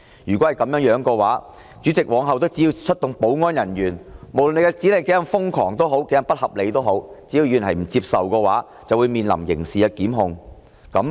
如果是這樣的話，梁君彥主席往後只要出動保安人員，無論指令是多麼瘋狂、不合理，議員若不接受，就會面臨刑事檢控。